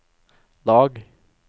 lag